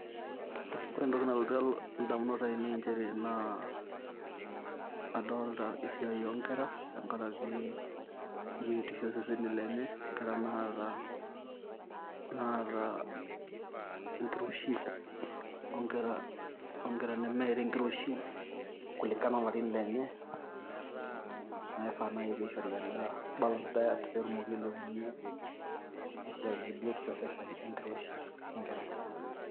Ore endoki nalotu ilo indamunot ai nei nchere naa adoolta esiai oo ngera te nkaraki embiotisho oo seseni lenye. Ngera naata enkiroshi oo ngera , kulingana olarin lenye naai saa piishori endaa balanced diet pee etumoki ailepunye esiai oo embiotishoi oo seseni enkiroshi oo enkarai.